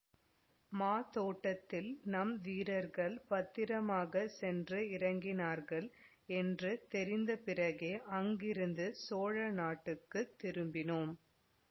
மாதோட்டத்தில் நம் வீரர்கள் பத்திரமாக சென்று இறங்கினார்கள் என்று தெரிந்த பிறகே அங்கிருந்து சோழ நாட்டுக்குத் திரும்பினோம்